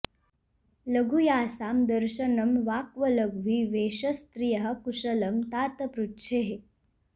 लघु यासां दर्शनं वाक्व लघ्वी वेशस्त्रियः कुशलं तात पृच्छेः